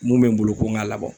Mun be n bolo, ko n ka labɔ.